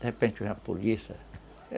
De repente vem a polícia.